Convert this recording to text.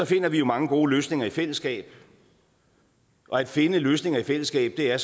finder vi jo mange gode løsninger i fællesskab og at finde løsninger i fællesskab er